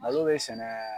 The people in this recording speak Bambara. Malo bɛ sɛnɛ